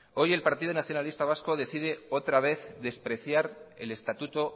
hoy en partido nacionalista vasco decide otra vez despreciar el estatuto